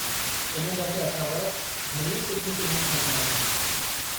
इन दफ़े असां वटि घणियूं सुठियूं फ़िल्मूं ठहियूं आहिनि।